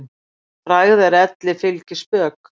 Frægð er elli fylgispök.